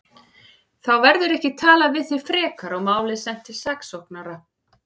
Þá verður ekki talað við þig frekar og málið sent til saksóknara.